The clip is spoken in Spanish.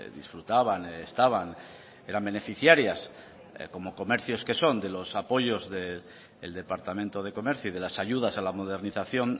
disfrutaban estaban eran beneficiarias como comercios que son de los apoyos del departamento de comercio y de las ayudas a la modernización